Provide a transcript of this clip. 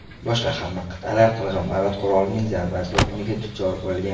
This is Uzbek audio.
Boshqa hamma qit’alar qirg‘inbarot qurolning zarba to‘lqiniga duchor bo‘lgan.